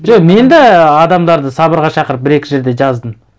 жоқ мен де адамдарды сабырға шақырып бір екі жерде жаздым